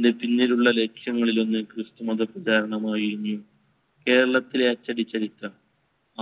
തിനു പിന്നിലുള്ള ലക്ഷ്യങ്ങളിലൊന്ന് ക്രിസ്തുമത പ്രചാരണമായിരുന്നു. കേരളത്തിലെ അച്ചടിച്ചരിത്രം.